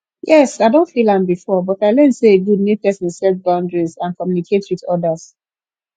yes i don feel am before but i learn say e good make pesin set boundaries and communicate with odas